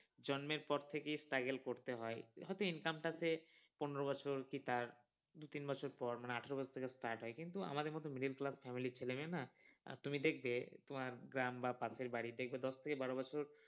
জন্মের পর থেকেই struggle করতে হয় হয়তো income টাতে পনেরো বছর কি তার দু তিন বছর পর মানে আঠেরো বছর থেকে start হয় কিন্তু আমাদের মত middle class family র ছেলে মেয়ে না, আর তুমি দেখবে তোমার গ্রাম বা পাশের বাড়ি দেখবে দশ থেকে বারো বছর